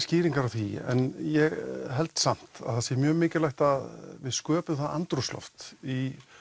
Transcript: skýringar á því en ég held samt að það sé mjög mikilvægt að við sköpum það andrúmsloft í